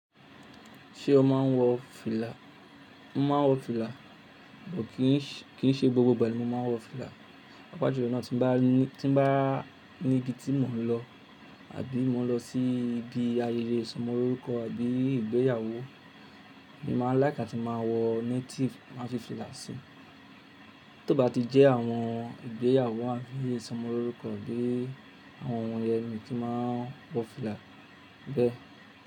Ṣé o máa ń wọ fìlà? Mo máa ń wọ fìlà, kò kíì ṣe gbogbo ìgbà ni mo máa ń wọ fìlà, pàápàjùlọ ìgbà náà tí bá níbi tí mò ń lọ àbí mò ń lọ sí ibi ayẹyẹ ìsọmọlórúkọ àbí ìgbéyàwó mi máa ń láìká tí máa wọ native máa fi fìlà síi. Tí ó bá ti jẹ́ àwọn ìgbéyàwó àbí ìsọmọlórúkọ gbé àwọn wọ̀nyẹn ni tí máa wọ fìlà bẹ́ẹ̀.